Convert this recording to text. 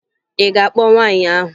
Ị ga-akpọ nwaanyị ahụ?